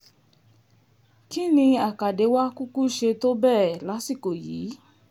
kín ní àkàdé wàá kúkú ṣe tó bẹ́ẹ̀ lásìkò yìí